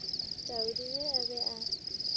taudi ge a be a